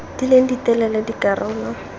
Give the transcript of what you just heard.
di leng di telele dikarolo